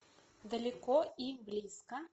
далеко и близко